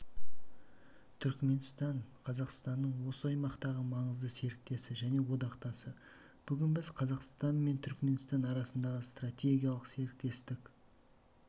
түркменстан қазақстанның осы аймақтағы маңызды серіктесі және одақтасы бүгін біз қазақстан мен түркменстан арасында стратегиялық серіктестік